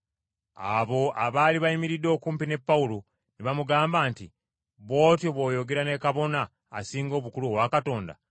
Abo abaali bayimiridde okumpi ne Pawulo ne bamugamba nti, “Bw’otyo bw’oyogera ne Kabona Asinga Obukulu owa Katonda?”